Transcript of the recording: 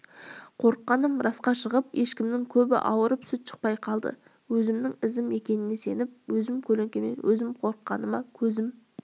қорыққаным расқа шығып ешкімнің көбі ауырып сүт шықпай қалды өзімнің ізім екеніне сеніп өз көлеңкемнен өзім қорыққаныма көзім